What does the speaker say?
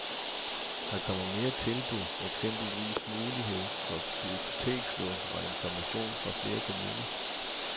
Der kommer mere tilbud, eksempelvis mulighed for bibliotekslån og information fra flere kommuner.